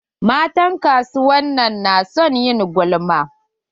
Matan kasuwan nan na son ƴin gulma.